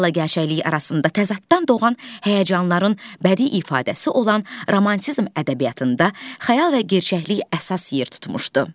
İdealla gerçəklik arasında təzaddan doğan həyəcanların bədii ifadəsi olan romantizm ədəbiyyatında xəyal və gerçəklik əsas yer tutmuşdu.